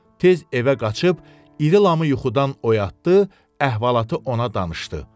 tez evə qaçıb, iri lamı yuxudan oyatdı, əhvalatı ona danışdı.